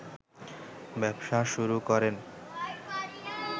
ব্যবসা শুরু করেন